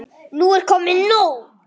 Nú er komið nóg!